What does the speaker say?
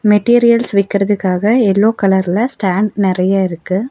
Materials விக்கர்துக்காக yellow கலர்ல stand நெறைய இருக்கு.